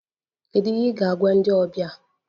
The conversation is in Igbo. Kedu ihe ị ga-agwa ndị ọbịa?